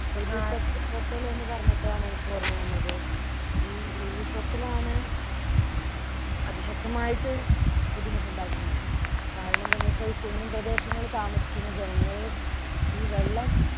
ഉരുൾപൊട്ട പൊട്ടൽ എന്ന് പറഞ്ഞപ്പോഴാണ് എനിക്ക് ഓർമ്മവന്നത് ഈ ഉരുൾപൊട്ടൽ ആണ് ഉം അതിശക്തമായിട്ട് ബുദ്ധിമുട്ട് ഉണ്ടാക്കിയത് കാരണം എന്തെന്ന് വെച്ചാൽ ഈ കുന്നും പ്രദേശങ്ങള് താമസിക്കുന്ന ജനങ്ങള് ഈ വെള്ളം